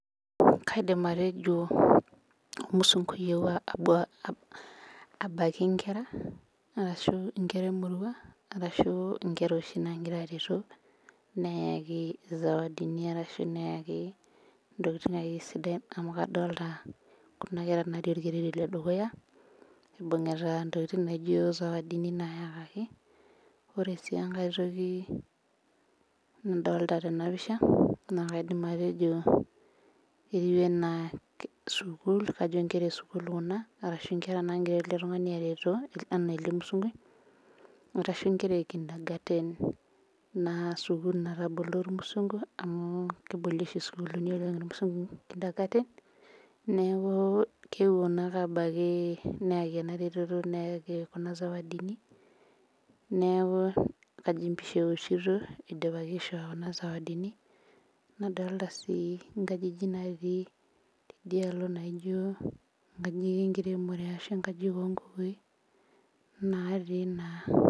Kaidim atejo ormusunkui oyeuo abaiki nkera, arashu nkera emurua arashu nkera oshi naagira aretu, neyaki sawadini ashu neyaki akeyie ntokiting sidain amu kadolita Kuna kera natii orkereri ledukuya ekibungita sawadini nayakaki. Ore sii enkae toki nadolita tenapisha, naa kaidim atejo sukul etiu enaa nkera esukul kuna, arashu nkera nagira ele tungani are too enaa ele musunkui, arashu nkera ekintagaten naa skukul natabolo irmusunku, amu keboli oshi oleng sukuulini irmusunku ekintagaten ,neeku keponu ake abaiki nayaki ena reteto ,neyaki kuna sawadini neeku kajo empisha eoshito eidipaki aishoo kuna sawadini. Nadolita sii nkajijik natii tidialo naijo nkajijik enkiremore ashu nkajijik onkukui natii naa.